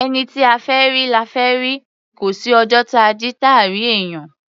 Ẹni tí a fẹ́ rí, la fẹ́ rí; kò sí ọjọ́ táa jí, táà rí èèyàn.